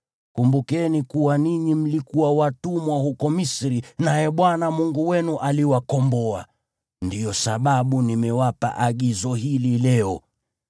Kumbukeni kuwa ninyi mlikuwa watumwa huko Misri naye Bwana Mungu wenu aliwakomboa. Ndiyo sababu nimewapa agizo hili leo.